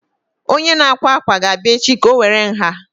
Onye akwa akwa ga-abịa echi ka o were nha